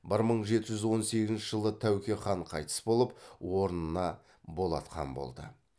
бір мың жеті жүз он сегізінші жылы тәуке хан қайтыс болып орнына болат хан болды